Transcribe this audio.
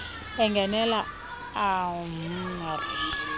engenelela ah mr